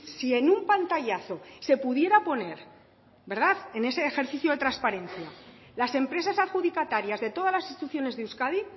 si en un pantallazo se pudiera poner en ese ejercicio de transparencia las empresas adjudicatarias de todas las instituciones de euskadi